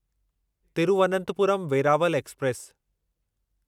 Thiruvananthapuram Veraval express